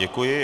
Děkuji.